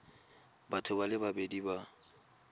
batho ba le babedi ba